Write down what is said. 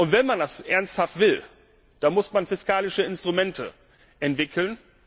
Und wenn man das ernsthaft will, dann muss man fiskalische Instrumente entwickeln.